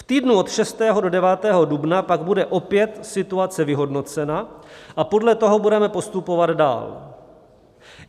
V týdnu od 6. do 9. dubna pak bude opět situace vyhodnocena a podle toho budeme postupovat dál.